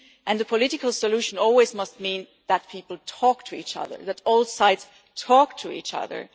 The political solution must always mean that people talk to each other, that all sides talk to each other.